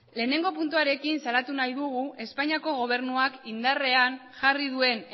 lehenengo puntuarekin salatu nahi dugu espainiako gobernuak indarrean jarri duen